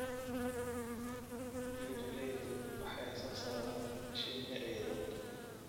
Beeraleydu waxay soo saaraan shinni ciidan.